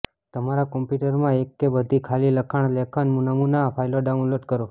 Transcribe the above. તમારા કમ્પ્યૂટરમાં એક કે બધી ખાલી લખાણ લેખન નમૂના ફાઈલો ડાઉનલોડ કરો